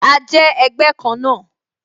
A jẹ́ ẹgbẹ́ kan náà